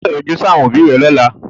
O gbọ́dọ̀ yọjú sí àwọn òbí rẹ lọ́la.